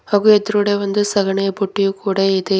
ಹಾಗೂ ಎದ್ರುಗಡೆ ಒಂದು ಸಗಣಿಯ ಬುಟ್ಟಿ ಕೂಡ ಇದೆ.